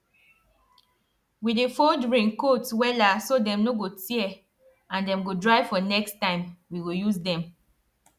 we dey fold raincoats wella so dem no go tear and dem go dry for next time we go use dem